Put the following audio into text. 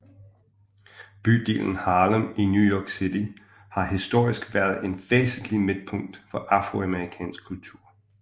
Bydelen Harlem i New York City har historisk været et væsentligt midtpunkt for afroamerikansk kultur